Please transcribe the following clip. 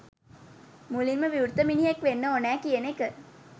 මුළින් ම විවෘත මිනිහෙක් වෙන්න ඕනෑ කියන එක.